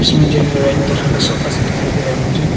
इसमें जो है रेड तरह का सोफा सेट दिखाई दे रहा है मुझे।